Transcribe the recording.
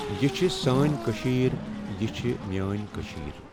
یہِ چھِ سأنؠ کشیر یہِ چھ میأنی کشیر۔